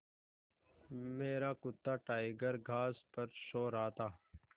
मेरा कुत्ता टाइगर घास पर सो रहा था